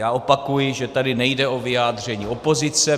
Já opakuji, že tady nejde o vyjádření opozice.